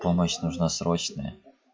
помощь нужна срочная